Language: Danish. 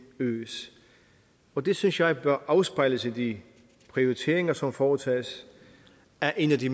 øges og det synes jeg bør afspejles i de prioriteringer som foretages af en af de